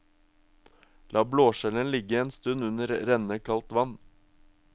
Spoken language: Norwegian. La blåskjellene ligge en stund under rennende kaldt vann.